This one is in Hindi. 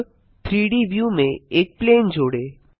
अब 3डी व्यू में एक प्लेन जोड़ें